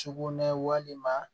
Sugunɛ walima